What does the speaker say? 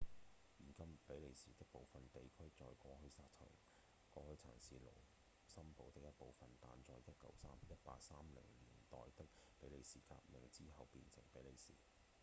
現今比利時的部分地區在過去曾是盧森堡的一部分但在1830年代的比利時革命之後變成比利時